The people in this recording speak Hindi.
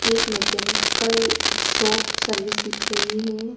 एक मैकेनिकल शॉप सर्विस दिख रही है।